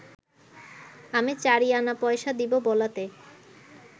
আমি চারি আনাপয়সা দিব বলাতে